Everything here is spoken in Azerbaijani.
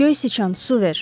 Göy siçan, su ver.